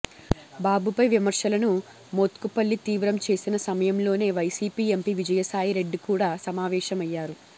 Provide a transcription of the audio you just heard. బాబుపై విమర్శలను మోత్కుపల్లి తీవ్రం చేసిన సమయంలోనే వైసీపీ ఎంపీ విజయసాయి రెడ్డి కూడ సమావేశమయ్యారు